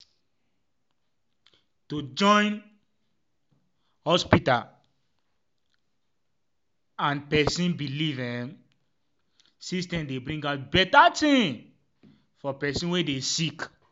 em- to join um hospita um ah and um pesin belief emmm system dey bring out beta tin for pesin wey dey sick